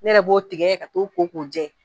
Ne yɛrɛ b'o tigɛ ka t'o jɛni